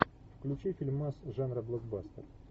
включи фильмас жанра блокбастер